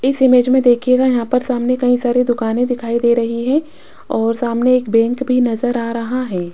इस इमेज में देखिएगा यहां पर सामने कई सारे दुकाने दिखाई दे रही है और सामने एक बैंक भी नजर आ रहा है।